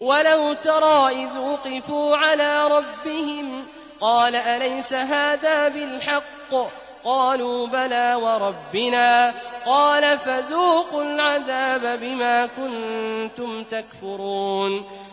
وَلَوْ تَرَىٰ إِذْ وُقِفُوا عَلَىٰ رَبِّهِمْ ۚ قَالَ أَلَيْسَ هَٰذَا بِالْحَقِّ ۚ قَالُوا بَلَىٰ وَرَبِّنَا ۚ قَالَ فَذُوقُوا الْعَذَابَ بِمَا كُنتُمْ تَكْفُرُونَ